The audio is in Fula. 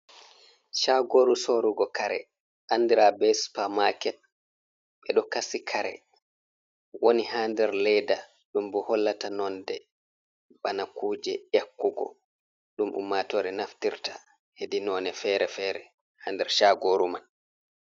"Shagoru" sorugo kare andira be supamaket ɓeɗo kasi kare woni ha nder leda ɗum bo hollata nonde bana kuje yakkugo ɗum ummatore naftirta heɗi none fere fere ha nder shagoru mai.